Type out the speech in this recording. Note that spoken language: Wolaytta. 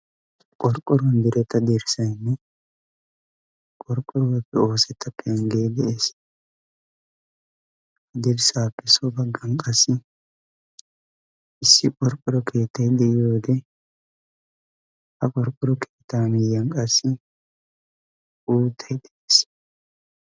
qorqqorn diretta derssaynne qorqqoruwaappe oosetta peanggee de'ees ha derssaappe so baggan qassi issi qorqqoro keettai de'iyo wode ha qorqqoro keettaa miyiyan qassi uuttay de'ees